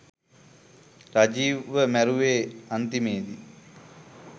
රජීව්ව මැරුවෙ අන්තිමේදි